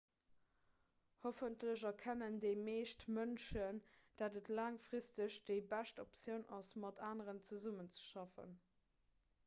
hoffentlech erkennen déi meescht mënschen datt et laangfristeg déi bescht optioun ass mat aneren zesummezeschaffen